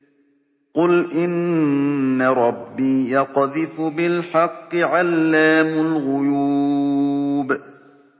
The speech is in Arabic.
قُلْ إِنَّ رَبِّي يَقْذِفُ بِالْحَقِّ عَلَّامُ الْغُيُوبِ